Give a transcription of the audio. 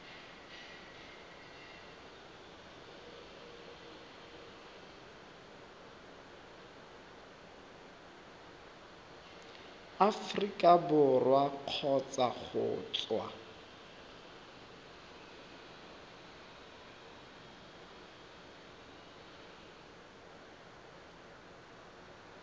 aforika borwa kgotsa go tswa